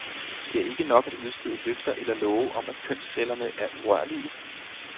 Det er ikke nok at udstede løfter eller love om at kønscellerne er urørlige.